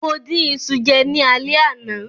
Mo dín iṣu jẹ ní alẹ́ àná.